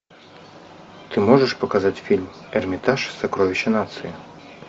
ты можешь показать фильм эрмитаж сокровища нации